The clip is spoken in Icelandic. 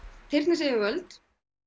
tyrknesk yfirvöld